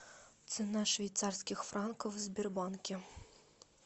цена швейцарских франков в сбербанке